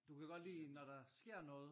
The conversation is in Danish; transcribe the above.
Du kan godt lide når der sker noget?